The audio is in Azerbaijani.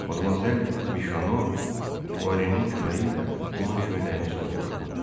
Madmazel Mişono Puarenin köməyi ilə onun köynəyini soyundurdu.